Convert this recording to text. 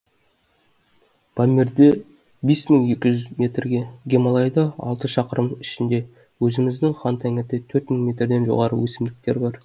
памирде бес мың екі жүз метрге гималайда алты шақырымның үстінде өзіміздің хан тәңіріде төрт мың метрден жоғары өсімдіктер бар